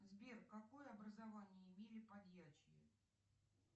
сбер какое образование имели подьячие